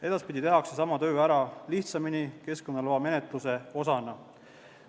Edaspidi tehakse sama töö ära lihtsamini, keskkonnaloa menetluse osana.